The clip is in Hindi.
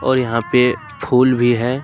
और यहां पे फूल भी है।